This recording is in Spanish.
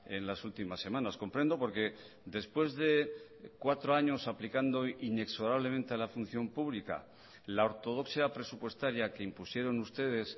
en las últimas semanas comprendo porque después de cuatro años aplicando inexorablemente a la función pública la ortodoxia presupuestaria que impusieron ustedes